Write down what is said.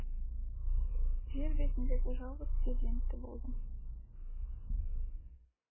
жер бетіндегі жалғыз перзенті болдым